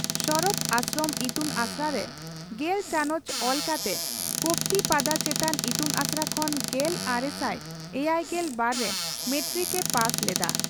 ᱥᱚᱨᱚᱛ ᱟᱥᱨᱚᱢ ᱤᱛᱩᱱᱟᱥᱲᱟ ᱨᱮ ᱜᱮᱞ ᱪᱟᱱᱚᱪ ᱚᱞ ᱠᱟᱛᱮ ᱠᱚᱯᱛᱤᱯᱟᱫᱟ ᱪᱮᱛᱟᱱ ᱤᱛᱩᱱᱟᱥᱲᱟ ᱠᱷᱚᱱ ᱜᱮᱞᱟᱨᱮᱥᱟᱭ ᱮᱭᱟᱭᱜᱮᱞ ᱵᱟᱨ ᱨᱮ ᱢᱮᱴᱨᱤᱠ ᱮ ᱯᱟᱥ ᱞᱮᱫᱼᱟ ᱾